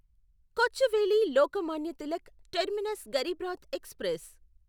Kochuveli Lokmanya Tilak terminus Garib Rath express